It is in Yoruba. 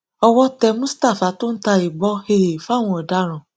owó tẹ mustapha tó ń ta ìbọn um fáwọn ọdaràn